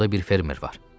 Burda bir fermer var.